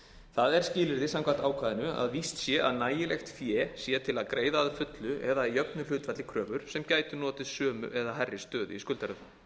það er skilyrði samkvæmt ákvæðinu að víst sé að nægilegt fé sé til að greiða að fullu eða að jöfnu hlutfalli kröfur sem gætu notið sömu eða hærri stöðu í skuldaröð